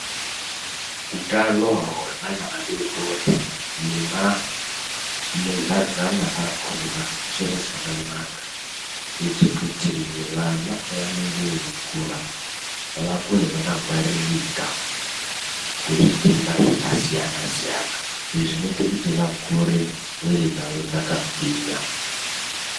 Utano hwevana vadori-dori nemamudhlazana akona chiro chakanaka kuite kuti vana pavanenge veikura vakure vakangwaririka kuzvitenda zvakasiyana-siyana. Izvi zvinoite kuti vakure mwiiri dzavo dzakagwinya.